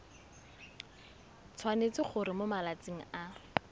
tshwanetse gore mo malatsing a